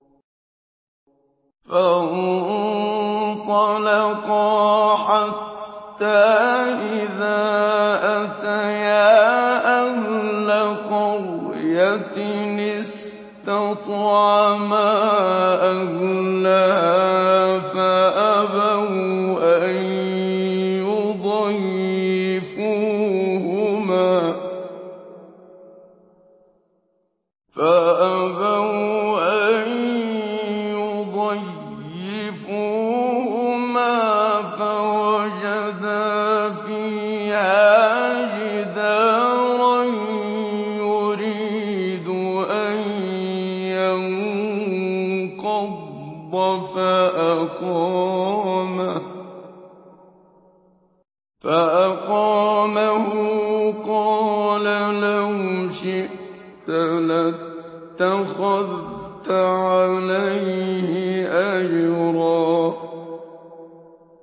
فَانطَلَقَا حَتَّىٰ إِذَا أَتَيَا أَهْلَ قَرْيَةٍ اسْتَطْعَمَا أَهْلَهَا فَأَبَوْا أَن يُضَيِّفُوهُمَا فَوَجَدَا فِيهَا جِدَارًا يُرِيدُ أَن يَنقَضَّ فَأَقَامَهُ ۖ قَالَ لَوْ شِئْتَ لَاتَّخَذْتَ عَلَيْهِ أَجْرًا